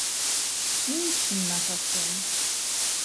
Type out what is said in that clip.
Nič nimata s tem.